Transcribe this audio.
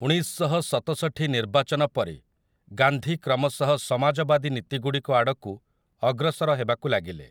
ଉଣେଇଶଶହସତଷଠି ନିର୍ବାଚନ ପରେ, ଗାନ୍ଧୀ କ୍ରମଶଃ ସମାଜବାଦୀ ନୀତିଗୁଡ଼ିକ ଆଡ଼କୁ ଅଗ୍ରସର ହେବାକୁ ଲାଗିଲେ ।